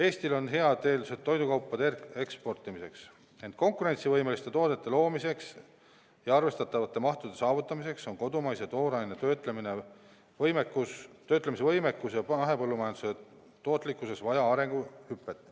Eestil on head eeldused toidukaupade eksportimiseks, ent konkurentsivõimeliste toodete loomiseks ja arvestatavate mahtude saavutamiseks on kodumaise tooraine töötlemise võimekuses ja mahepõllumajanduse tootlikkuses vaja arenguhüpet.